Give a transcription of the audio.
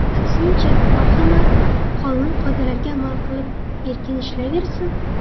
Aksincha marhamat, qonun-qoidalarga amal qilib erkin ishlayversin.